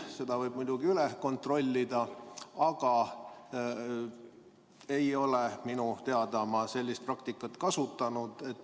Seda võib muidugi üle kontrollida, aga oma teada ei ole ma sellist praktikat kasutanud.